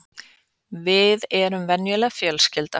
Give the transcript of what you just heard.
Við erum venjuleg fjölskylda